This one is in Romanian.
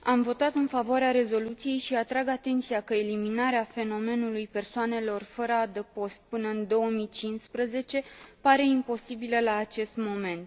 Am votat în favoarea rezoluției și atrag atenția că eliminarea fenomenului persoanelor fără adăpost până în 2015 pare imposibilă la acest moment.